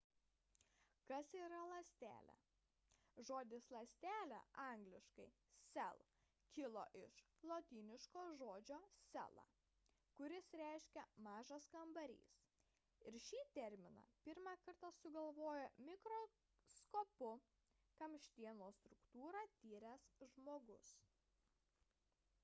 kas yra ląstelė? žodis ląstelė angl. cell kilo iš lotyniško žodžio cella kuris reiškia mažas kambarys ir šį terminą pirmą kartą sugalvojo mikroskopu kamštienos struktūrą tyręs žmogus